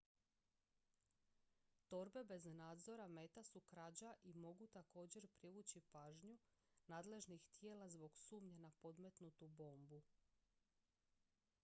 torbe bez nadzora meta su krađa i mogu također privući pažnju nadležnih tijela zbog sumnje na podmetnutu bombu